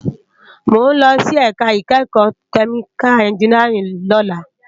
Mó n lòsí èká ikèékò kèmíká ènjìníárìn lòlá